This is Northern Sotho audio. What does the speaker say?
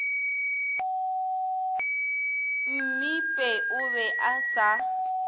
mmipe o be a sa